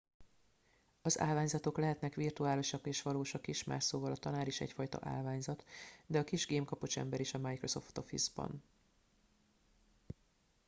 "az állványzatok lehetnek virtuálisak és valósak is más szóval a tanár is egyfajta "állványzat" de a kis gemkapocs ember is a microsoft office-ban.